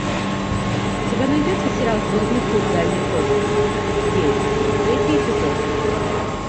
у тебя найдется сериал звездный путь дальний космос девять третий эпизод